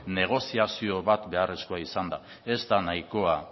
negoziazio bat beharrezkoa izan da ez da nahikoa